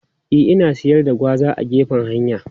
E, ana siyar da gwaza a gefen hanya.